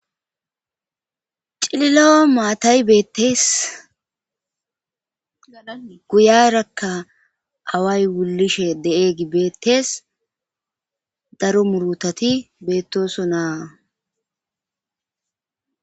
Cilila7a maatay beettees gala guyarakka away wulishe de7e gibeettees daro murutati beettoso naa